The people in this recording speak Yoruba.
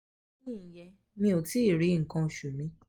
ìyẹn mi ò tí ì rí nkan osu mi